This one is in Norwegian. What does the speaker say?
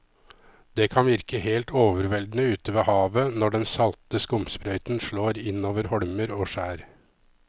Det kan virke helt overveldende ute ved havet når den salte skumsprøyten slår innover holmer og skjær.